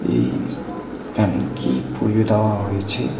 এই খানে কী পুজো দ্যাওয়া হয়েছে।